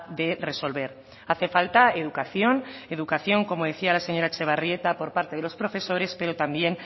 de resolver hace falta educación educación como decía la señora etxebarrieta por parte de los profesores pero también